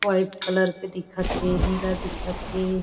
White colour के दिखत थे नीला दिखत थे।